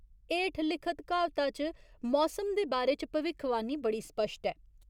हेठ लिखत क्हावता च मौसम दे बारे च भविक्खवाणी बड़ी स्पश्ट ऐ।